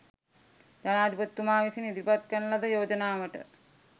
ජනාධිපතිතුමා විසින් ඉදිරිපත් කරන ලද යෝජනාවට